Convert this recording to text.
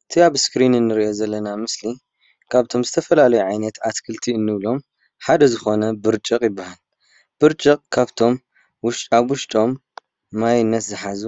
እቲ አብ እስክሪን እንሪኦ ዘለና ምስሊ ካብቶም ዝተፈላለዩ ዓይነት አትክልቲ እንብሎም ሓደ ዝኾነ ብርጭቕ ይባሃል። ብርጭቕ ካብቶም ውሽጣውሽጦም ማይነት ዝሓዙ